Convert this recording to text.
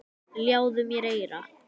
Ljáðu mér eyra.